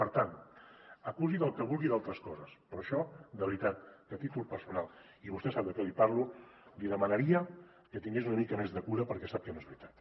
per tant acusi del que vulgui d’altres coses però això de veritat i a títol personal i vostè sap de què li parlo li demanaria que tingués una mica més de cura perquè sap que no és veritat